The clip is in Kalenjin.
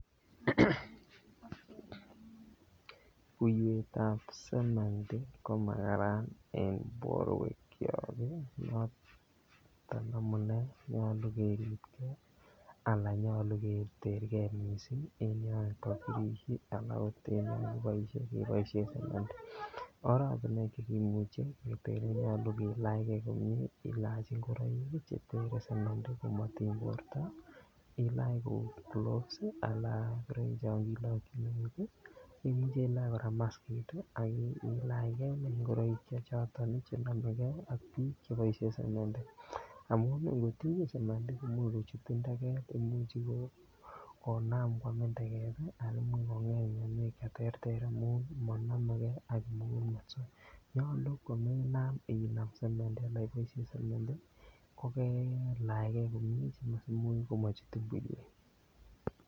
Buiywet ab sementi ko makararan en borwekyok noton amune nyolu keribge anan nyolu keter ge mising en yon kakiboisie keboisien oratinwek Che keboisien keteren ko kilach ge komie kilach ngoroik Che tere sementi komo tiny borto ilach kou gloves ngoroik chon kilokyin eut Imuch ilach kora maskit ak ilach inei ngoroik Che choton Che nomegei ak boisiet ab sementi amun ngotinyin sementi komuch kochutin teget Imuch Konam koamin teget anan Imuch konget mianwek Che terter amun monomege ak kimugul met nyolu komenam iboisien sementi kokelach ge komie komochutin buiywet